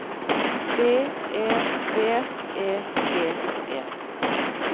B E V E G E